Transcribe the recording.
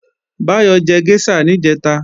Báyọ̀ jẹ géṣà níjẹ̀ta